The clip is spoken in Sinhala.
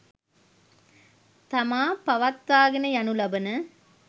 තමා පවත්වාගෙන යනු ලබන